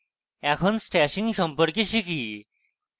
এখন stashing সম্পর্কে শিখি